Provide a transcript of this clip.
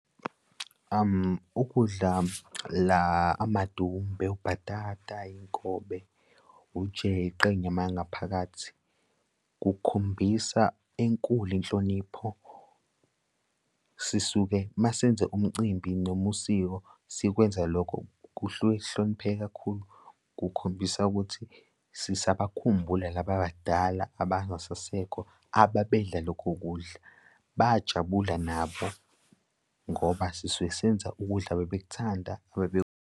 Ukudla la amadumbe ubhatata iy'nkobe, ujeqe inyama yangaphakathi kukhombisa enkulu inhlonipho sisuke masenze umcimbi noma usiko sikwenza lokho, kuhluke kuhlonipheke kakhulu kukhombisa ukuthi sisabakhumbula laba abadala abangasasekho ababedla lokho kudla, bayajabula nabo ngoba sisuke senza ukudla ababekuthanda .